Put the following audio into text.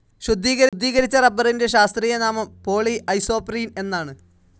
ശുദ്ധീകരിച്ച റബ്ബറിന്റെ ശാസ്ത്രീയനാമം പോളി ഐസോപ്രീൻ എന്നാണ്.